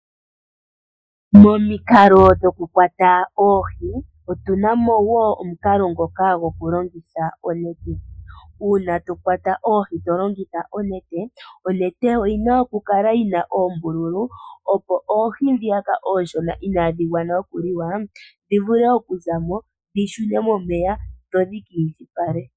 Momikalo dhokukwata oohi otuna mo wo omukalo ngoka gokulongitha onete. Una to kwata oohi to longitha onete , onete oyi na okukala yina oombululu opo oohi ndhiyaka oonshona inaadhi gwana okuliwa dhi vule okuza mo dhi shune momeya opo dhi kiindjipale.